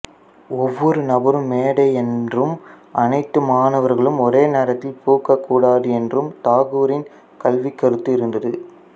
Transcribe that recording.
ஒவ்வொரு நபரும் மேதை என்றும் அனைத்து மாணவர்களும் ஒரே நேரத்தில் பூக்கக்கூடாது என்றும் தாகூரின் கல்வி கருத்து இருந்தது